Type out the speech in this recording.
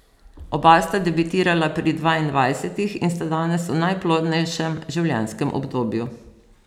Oba sta debitirala pri dvaindvajsetih in sta danes v najplodnejšem življenjskem obdobju.